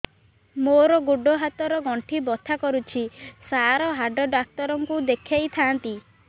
ମୋର ଗୋଡ ହାତ ର ଗଣ୍ଠି ବଥା କରୁଛି ସାର ହାଡ଼ ଡାକ୍ତର ଙ୍କୁ ଦେଖାଇ ଥାନ୍ତି